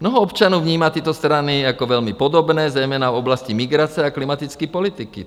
Mnoho občanů vnímá tyto strany jako velmi podobné, zejména v oblasti migrace a klimatické politiky.